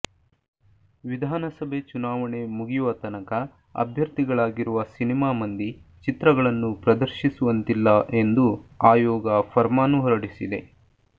ವಿಧಾನಸಭೆ ಚುನಾವಣೆ ಮುಗಿಯುವ ತನಕ ಅಭ್ಯರ್ಥಿಗಳಾಗಿರುವ ಸಿನಿಮಾ ಮಂದಿ ಚಿತ್ರಗಳನ್ನು ಪ್ರದರ್ಶಿಸುವಂತಿಲ್ಲ ಎಂದು ಆಯೋಗ ಫರ್ಮಾನು ಹೊರಡಿಸಿದೆ